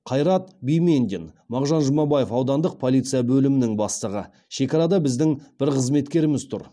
қайрат бимендин мағжан жұмабаев аудандық полиция бөлімінің бастығы шекарада біздің бір қызметкеріміз тұр